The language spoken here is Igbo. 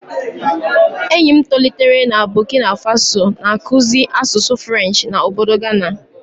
Enyi m tolitere na Bokina Faso, na-akụzi asụsụ Frenchị na ọbọdọ Gana.